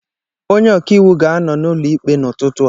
Onye ọkà iwu ga-anọ n'ụlọ ikpe n'ụtụtụ a.